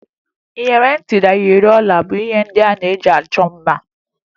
Iyeri ntị na iyeri olu bụ ihe ndị e ji achọ mma